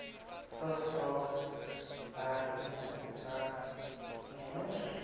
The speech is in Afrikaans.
vigs raak werknemers